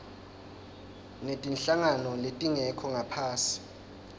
netinhlangano letingekho ngaphasi